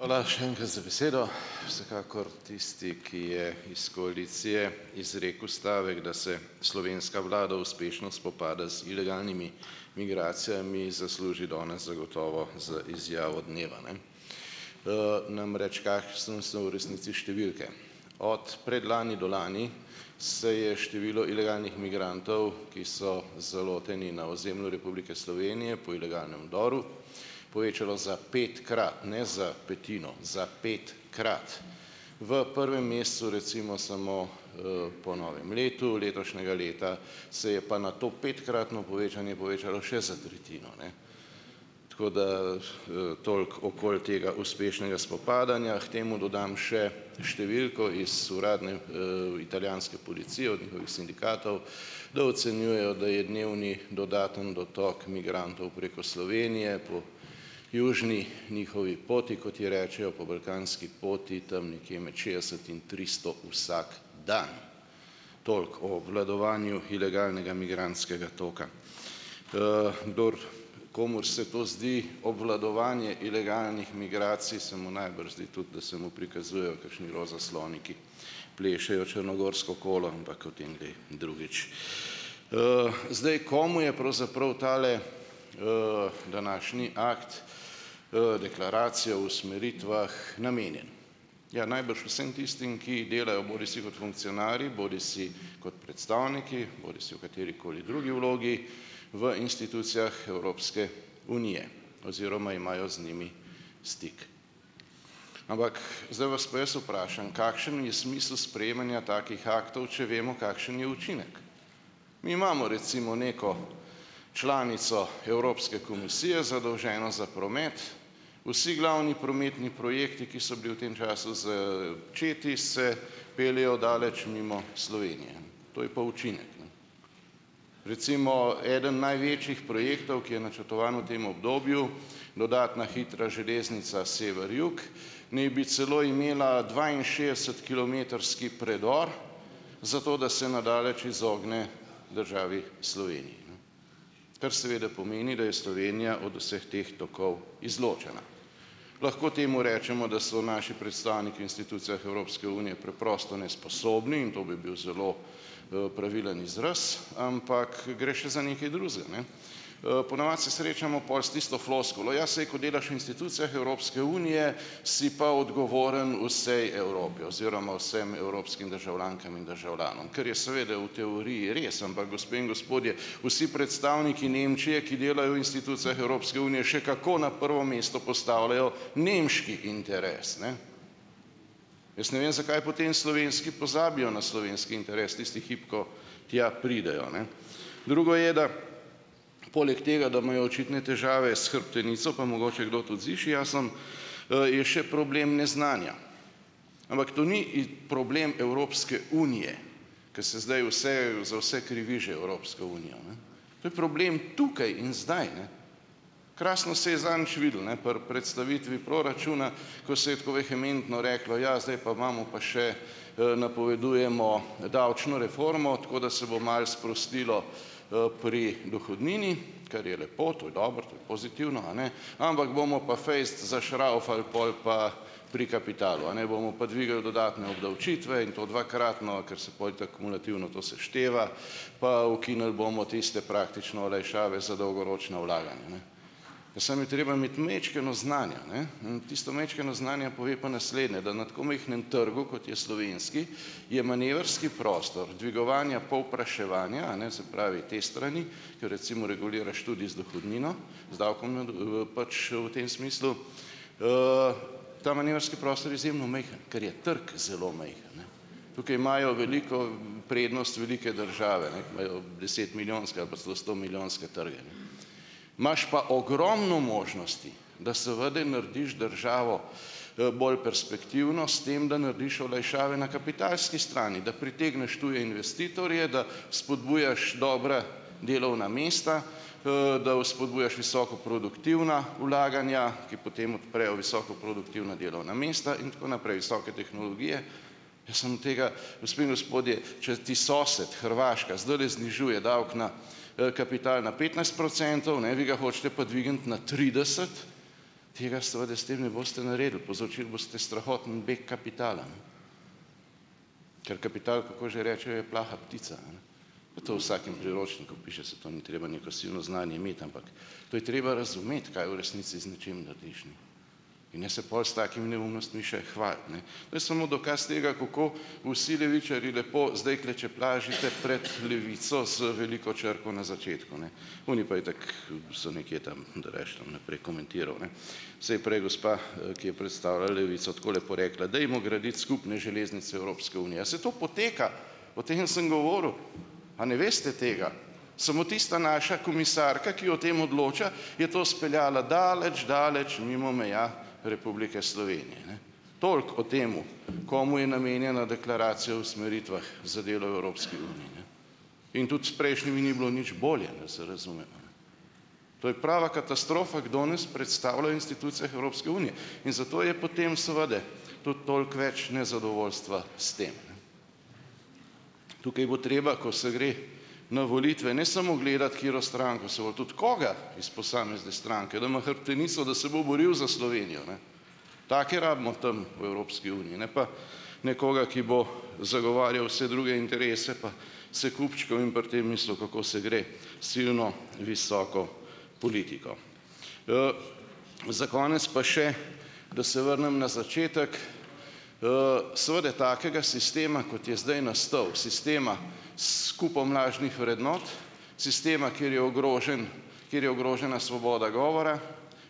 Hvala še enkrat za besedo. Vsekakor tisti, ki je iz koalicije izrekel stavek, da se slovenska vlada uspešno spopada z ilegalnimi migracijami, zasluži danes zagotovo z izjavo dneva, ne. Namreč kakšne so v resnici številke? Od predlani do lani se je število ilegalnih migrantov, ki so zaloteni na ozemlju Republike Slovenije po ilegalnem vdoru, povečalo za petkrat, ne za petino, za petkrat, v prvem mesecu recimo samo po novem letu letošnjega leta se je pa na to petkratno povečanje povečalo še za tretjino, ne. Tako, da, toliko okoli tega uspešnega spopadanja. K temu dodam še številko iz uradne, italijanske policije od njihovih sindikatov, da ocenjujejo, da je dnevni dodaten dotok migrantov preko Slovenije po južni njihovi poti, kot ji rečejo, po balkanski poti, tam nekje med šestdeset in tristo vsak dan. Toliko o obvladovanju ilegalnega migrantskega toka. Komur se to zdi obvladovanje ilegalnih migracij, se mu najbrž zdi tudi, da se mu prikazujejo kakšni roza sloni, ki plešejo črnogorsko kolo, ampak o tem kdaj drugič. Zdaj, komu je pravzaprav tale današnji akt deklaracije o usmeritvah namenjen? Ja, najbrž vsem tistim, ki delajo bodisi kot funkcionarji bodisi kot predstavniki bodisi v katerikoli drugi vlogi v institucijah Evropske unije oziroma imajo z njimi stik. Zdaj vas pa jaz vprašam, kakšen je smisel sprejemanja takih aktov, če vemo, kakšen je učinek? Mi imamo recimo neko članico Evropske komisije, zadolženo za promet, vsi glavni prometni projekti, ki so bili v tem času začeti, se peljejo daleč mimo Slovenije. To je pa učinek, ne. Recimo eden največjih projektov, ki je načrtovan v tem obdobju, dodatna hitra železnica sever-jug, ne bi celo imela dvainšestdesetkilometrski predor zato, da se na daleč izogne državi Sloveniji, kar seveda pomeni, da je Slovenija od vseh teh tokov izločena. Lahko temu rečemo, da so naši predstavniki institucijah Evropske unije preprosto nesposobni in to bi bil zelo, pravilen izraz, ampak gre še za nekaj drugega, ne. Ponavadi se srečamo pol s tisto floskulo, ja, saj, ko delaš v institucijah Evropske unije, si pa odgovoren vsej Evropi oziroma vsem evropskim državljankam in državljanom, kar je seveda v teoriji res, ampak gospe in gospodje, vsi predstavniki Nemčije, ki delajo v institucijah Evropske unije, še kako na prvo mesto postavljajo nemški interes, ne. Jaz ne vem, zakaj potem slovenski pozabijo na slovenski interes tisti hip, ko tja pridejo, ne. Drugo je, da poleg tega, da imajo očitne težave s hrbtenico, pa mogoče kdo tudi z išiasom, je še problem neznanja, ampak to ni problem Evropske unije, kaj se zdaj vse za vse že krivi Evropsko unijo, ne, to je problem tukaj in zdaj, ne. Krasno se je zadnjič videlo, ne, pri predstavitvi proračuna, ko se je tako vehementno reklo: "Ja, zdaj pa imamo pa še, napovedujemo davčno reformo, tako da se bo malo sprostilo pri dohodnini." Kar je lepo, to je dobro, to je pozitivno, a ne, ampak bomo pa fejst zašravfali pol pa pri kapitalu, a ne, bomo pa dvignili dodatne obdavčitve in to dvakratno, ker se pol itak kumulativno to sešteva, pa ukinili bomo tiste praktične olajšave za dolgoročna vlaganja, ne. Samo je treba imeti majčkeno znanja, ne, in tisto majčkeno znanja pove pa naslednje, da na tako majhnem trgu, kot je slovenski, je manevrski prostor dvigovanja povpraševanja, a ne, se pravi te strani, ke recimo reguliraš tudi z dohodnino, z davkom pač v tem smislu, ta manevrski prostor izjemno majhen, ker je trg zelo majhen, ne. Tukaj imajo veliko prednost velike države, ne, ker imajo desetmilijonske ali pa celo stomilijonske trge, ne. Imaš pa ogromno možnosti, da seveda narediš državo, bolj perspektivno s tem, da narediš olajšave na kapitalski strani. Da pritegneš tuje investitorje, da spodbujaš dobra delovna mesta, da vzpodbujaš visoko produktivna vlaganja, ki potem odprejo visoko produktivna delovna mesta in tako naprej, visoke tehnologije. Jaz imam tega, gospe in gospodje, če ti sosed, Hrvaška zdajle znižuje davek na, kapital na petnajst procentov, ne, vi ga hočete pa dvigniti na trideset, tega seveda s tem ne boste naredili, povzročili boste strahoten beg kapitala, ne. Ker kapital, kako že rečejo, je plaha ptica, pa to vsakem priročniku piše, saj to ni treba neko silno znanje imeti, ampak to je treba razumeti, kaj v resnici z nečim narediš. In se pol s takim neumnostmi še hvaliti, ne. To je samo dokaz tega, kako vsi levičarji lepo zdaj klečeplazite pred Levico z veliko črko na začetku, ne, oni pa itak so nekje tam, da rajši ne bom naprej komentiral, ne. Saj je prej gospa, ki je predstavila Levico, tako lepo rekla: "Dajmo graditi skupne železnice Evropske unije." Ja, saj to poteka, o tem sem govoril. A ne veste tega? Samo tista naša komisarka, ki o tem odloča, je to speljala daleč, daleč mimo meja Republike Slovenije, ne. Toliko o tem, komu je namenjena deklaracija o usmeritvah za delo v Evropski uniji, ne. In tudi s prejšnjimi ni bilo nič bolje, da se razumemo, ne. To je prava katastrofa, kdo nas predstavlja institucijah Evropske unije in zato je potem seveda tudi toliko več nezadovoljstva s tem. Tukaj bo treba, ko se gre na volitve, ne samo gledati, katero stranko se bo, tudi koga iz posamezne stranke, da ima hrbtenico, da se bo boril za Slovenijo, ne. Take rabimo tam v Evropski uniji, ne pa nekoga, ki bo zagovarjal vse druge interese pa se kupčkal in pri tem mislil, kako se gre silno visoko politiko. Za konec pa še, da se vrnem na začetek. Seveda takega sistema, kot je zdaj nastal, sistema s kupom lažnih vrednot, sistema, kjer je ogrožen, kjer je ogrožena svoboda govora,